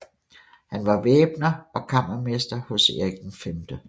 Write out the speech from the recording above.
Han var væbner og kammermester hos Erik 5